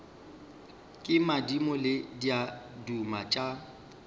ke madimo le diaduma tša